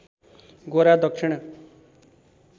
गोरा दक्षिण